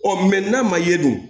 Ɔ n'a ma ye dun